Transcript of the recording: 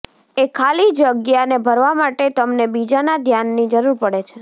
એ ખાલી જગ્યાને ભરવા માટે તમને બીજાના ધ્યાનની જરૂર પડે છે